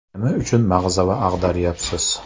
Nima uchun mag‘zava ag‘daryapsiz?